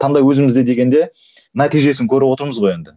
таңдау өзімізде дегенде нәтижесін көріп отырмыз ғой енді